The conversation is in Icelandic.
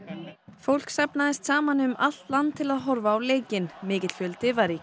fólk safnaðist saman um allt land til að horfa á leikinn mikill fjöldi var í